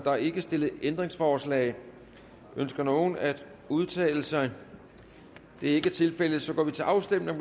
er ikke stillet ændringsforslag ønsker nogen at udtale sig det er ikke tilfældet og så går vi til afstemning